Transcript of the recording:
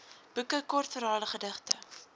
boeke kortverhale gedigte